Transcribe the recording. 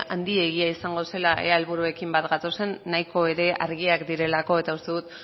handiegia izango zela ea helburuekin bat gatozen nahiko ere argiak direlako eta uste dut